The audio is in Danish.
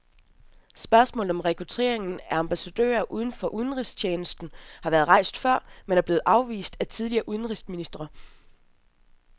Spørgsmålet om rekrutteringen af ambassadører uden for udenrigstjenesten har været rejst før, men er blevet afvist af tidligere udenrigsministre.